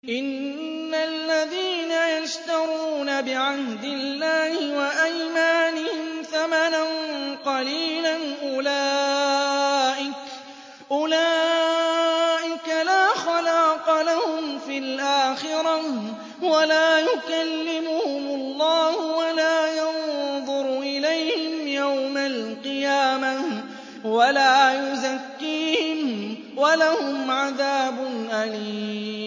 إِنَّ الَّذِينَ يَشْتَرُونَ بِعَهْدِ اللَّهِ وَأَيْمَانِهِمْ ثَمَنًا قَلِيلًا أُولَٰئِكَ لَا خَلَاقَ لَهُمْ فِي الْآخِرَةِ وَلَا يُكَلِّمُهُمُ اللَّهُ وَلَا يَنظُرُ إِلَيْهِمْ يَوْمَ الْقِيَامَةِ وَلَا يُزَكِّيهِمْ وَلَهُمْ عَذَابٌ أَلِيمٌ